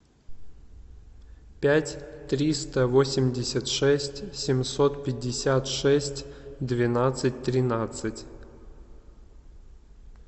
пять триста восемьдесят шесть семьсот пятьдесят шесть двенадцать тринадцать